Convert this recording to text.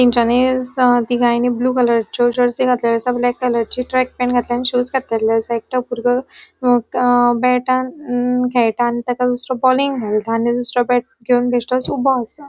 तेन्चानी तिघांनी ब्लू कलरचयों जेरसी घातलेले असा ब्लॅक कलरची ट्रॅक पॅन्ट घातला आणि शूज घातलेले एकतो बुरगो अ बॅटान खेळता आणि ताका दूसरों बॉलिंग मेळटा आणि दूसरों बॅट घेवन बेशतोच ऊबो असा.